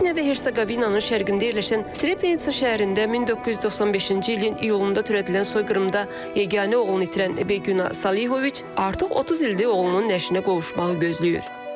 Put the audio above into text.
Bosniya və Herseqovinanın şərqində yerləşən Srebrenitsa şəhərində 1995-ci ilin iyulunda törədilən soyqırımda yeganə oğlunu itirən Bequna Salioviç artıq 30 ildir oğlunun nəşinə qovuşmağı gözləyir.